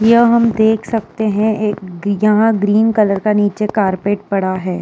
यह हम देख सकते है एक यहाँ ग्रीन कलर का नीचे कारपेट पड़ा हैं।